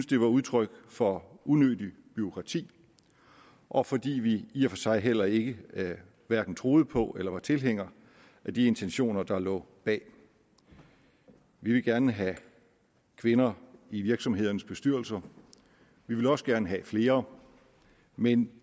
det var udtryk for unødigt bureaukrati og fordi vi i og for sig heller ikke troede på eller var tilhængere af de intentioner der lå bag vi vil gerne have kvinder i virksomhedernes bestyrelser vi vil også gerne have flere men